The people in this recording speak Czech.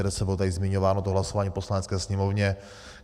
Bylo tady zmiňováno to hlasování v Poslanecké sněmovně.